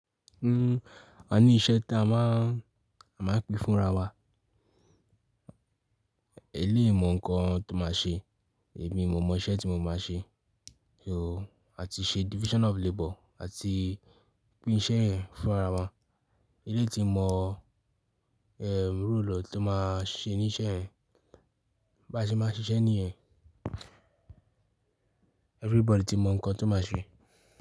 Hmm, a ní iṣẹ́ tí a máa, a máa ń pín fún ara wa. Eléyi mọ ǹkan tó máa ṣe, èmi mo mọ iṣẹ́ tí mo máa ṣe. Ooo, a ti ṣe division of labor àti pín iṣẹ́ yẹn fún ara wa. Eleyi ti mọ, ehm, role ẹ tó máa ṣe ní iṣẹ́ yẹn bá ṣe máa n ṣiṣẹ́ ní yẹn everybody ti mọ ǹkan tó máa ṣe.